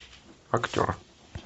актер